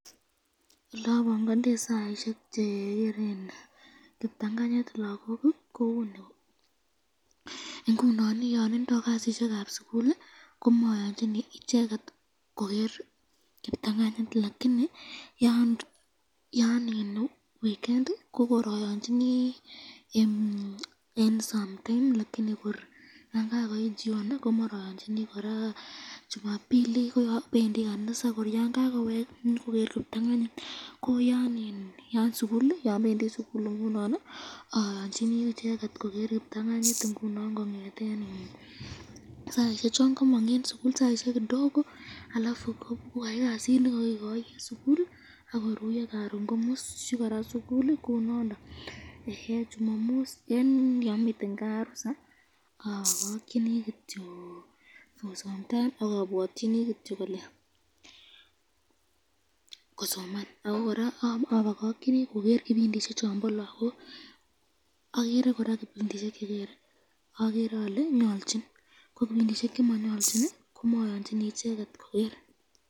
Elabangandei saisyek chegeren kiptanganyit lagoki kouni, ingunon ii yaindo kasisyekab sukul ii komayanchini icheket koger kiptanganyit, lakini yan weekend ii komayanchini eng sometime lakini yan kakoit Jioni komarayonchini ,koraa jumambili kobendi kanisa kor yan kakowek ii konyokoger kiptanganyit, yan bendi sukul ingunon ii aanchini icheket koger kiptanganyit ingunon konyeten saisyek chon kamong eng sukul, saisyek kidogo alafu kobokoyai kasit nekakikoi eng sukul akoruyo karon komusyi koraa sukul, kounondon. Eng yon miten kaa rusa abakakyini kityo for sometime akabwatyini kityo kosoman, ako koraa abakakyini koger kipindi shek chombo lagok ,agere koraa kipindishek chenyolchik ko kipindishek chemonyolchik eaten icheket koger.